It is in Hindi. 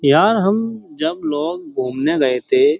यार हम जब लोग घूमने गए थे --